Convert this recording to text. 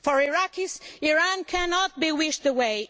For Iraqis, Iran cannot be wished away.